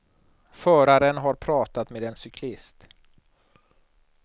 Föraren har pratat med en cyklist.